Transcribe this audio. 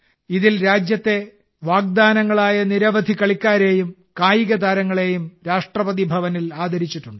ഇതിൽ രാജ്യത്തെ വാഗ്ദാനങ്ങളായ നിരവധി കളിക്കാരെയും കായികതാരങ്ങളെയും രാഷ്ട്രപതിഭവനിൽ ആദരിച്ചിട്ടുണ്ട്